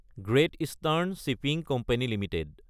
great eastern shipping company Ltd